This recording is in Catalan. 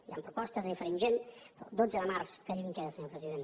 hi ha propostes de diferent gent però dotze de març que lluny queda senyor president